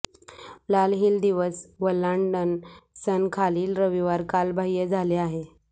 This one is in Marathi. लाल हिल दिवस वल्हांडण सण खालील रविवार कालबाह्य झाले आहे